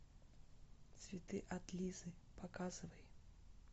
цветы от лизы показывай